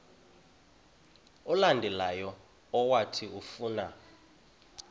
olandelayo owathi ufuna